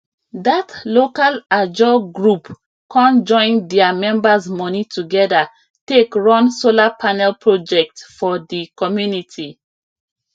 that local ajo group con join their members money together take run solar panel project for the community